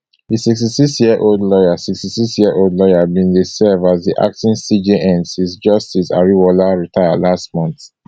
di sixty-sixyearold lawyer sixty-sixyearold lawyer bin dey serve as di acting cjn since justice ariwoola retire last month